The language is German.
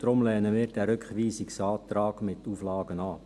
Deshalb lehnen wir den Rückweisungsantrag mit den Auflagen ab.